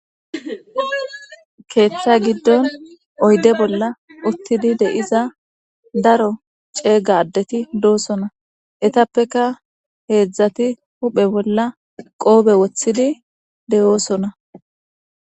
Keetha gidon oyde bolla utid diza daro ceega adet dosona. Etappeka 3 huphe bolla qope wothid de'osona .